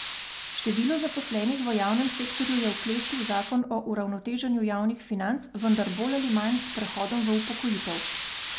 Število zaposlenih v javnem sektorju je oklestil zakon o uravnoteženju javnih financ, vendar bolj ali manj s prehodom v upokojitev.